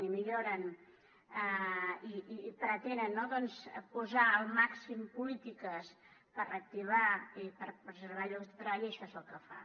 i milloren i pretenen doncs posar el màxim polítiques per reactivar i per preservar llocs de treball i això és el que fa